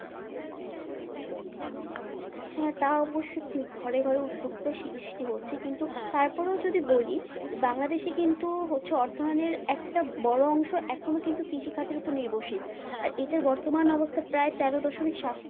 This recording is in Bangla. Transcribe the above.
হ্যাঁ তা অবশ্য ঠিক ঘরে ঘরে উদ্যোক্তা সৃষ্টি হচ্ছে কিন্তু তারপরও যদি বলি যে বাংলাদেশে কিন্তু হচ্ছে অর্থায়নের একটা বড় অংশ এখনো কিন্তু কৃষি খাতের উপর নির্ভরশীল আর এটার বর্তমান অবস্থা প্রায় তেরো দশমিক সাত